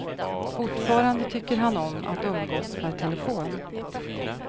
Fortfarande tycker han om att umgås per telefon.